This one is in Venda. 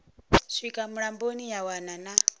swika mulamboni ya wana na